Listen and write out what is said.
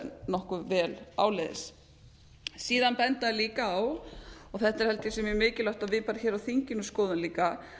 nokkuð vel áleiðis síðan benda þeir líka á og þetta er held ég sem er mikilvægt að við bara hér á þinginu skoðum líka